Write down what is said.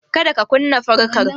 Kada ka kunna fankar